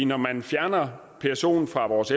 når man fjerner psoen fra vores